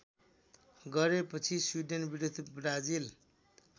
गरेपछि स्वीडेनविरुद्ध ब्राजिल